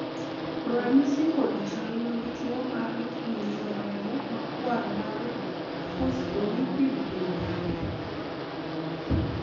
ranyisi kod chal mag tuo mar ng'injo remo makwar mar phospholipid gin mage?